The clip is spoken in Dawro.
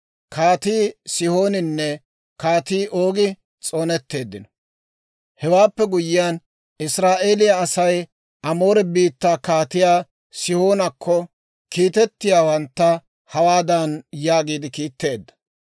Hewaappe guyyiyaan, Israa'eeliyaa Asay Amoore biittaa Kaatiyaa Sihoonakko kiitettiyaawantta hawaadan yaagiide kiitteedda;